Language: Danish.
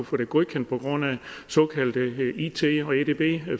få det godkendt på grund af såkaldte it og edb